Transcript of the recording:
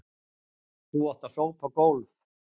Þú átt að sópa gólf.